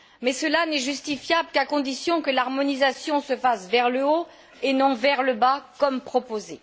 Mais cela n'est justifiable qu'à condition que l'harmonisation se fasse vers le haut et non vers le bas, comme proposé.